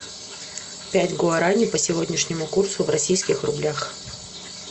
пять гуарани по сегодняшнему курсу в российских рублях